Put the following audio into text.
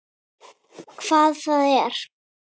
Hvað það er?